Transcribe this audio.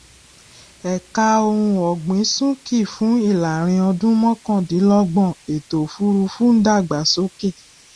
ẹka ohun ọgbìn súnkì fún ìlàrinọdún mọkàndínlọgbọn ètòòfùrúfú ń dàgbásókè